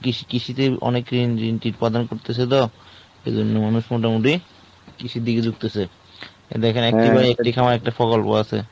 কৃষি কৃষিতে অনেক রিমঝিম ট্রিট পাদন করতেছে তো এবং মোটামুটি কৃষির দিকে ঝুকতেছে। তো দেখেন এখানে একটা প্রকল্প আছে।